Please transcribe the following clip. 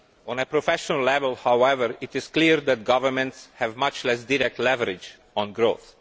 On a professional level, however, it is clear that governments have much less direct leverage on growth.